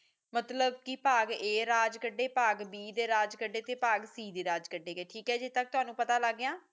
ਮਤਲੱਬ ਕਿ ਬਾਗ ਏ ਰਾਜ ਕਢੇ ਬਾਗ ਬੀ ਦੇ ਰਾਜ ਕਢੇ ਤੇ ਬਾਗ ਸੀ ਰਾਜ ਕਢੇ ਗਏ ਠੀਕ ਹੈ ਜੀ ਇਥੋਂ ਤੱਕ ਤੈਨੂੰ ਪਤਾ ਲੱਗ ਗਿਆ